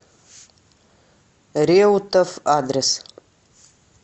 реутов адрес